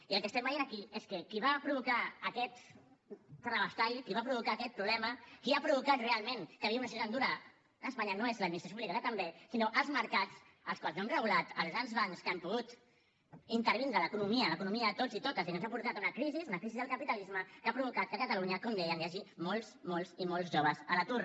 i el que estem veient aquí és que qui va provocar aquest terrabastall qui va provocar aquest problema qui ha provocat realment que vivim en una situació tan dura a espanya no és l’administració pública que també sinó els mercats que no hem regulat els grans bancs que han pogut intervindre l’economia l’economia de tots i totes i que ens ha portat a una crisi una crisi del capitalisme que ha provocat que a catalunya com deia hi hagi molts molts i molts joves a l’atur